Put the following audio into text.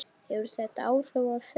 Hefur þetta áhrif á þau?